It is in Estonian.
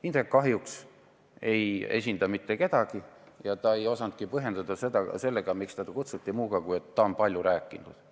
Indrek kahjuks ei esinda mitte kedagi ja ta ei osanudki põhjendada, miks ta kutsuti, muuga, kui et ta on sellest teemast palju rääkinud.